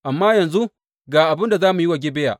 Amma yanzu ga abin da za mu yi wa Gibeya.